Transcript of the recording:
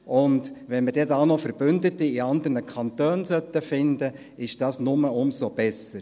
Und wenn wir da noch Verbündete in anderen Kantone finden sollten, wäre dies nur umso besser.